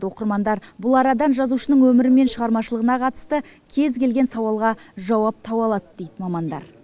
оқырмандар бұл арадан жазушының өмірі мен шығармашылығына қатысты кез келген сауалға жауап таба алады дейді мамандар